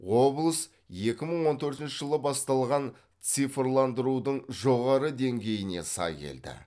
облыс екі мың он төртінші жылы басталған цифрландырудың жоғары деңгейіне сай келді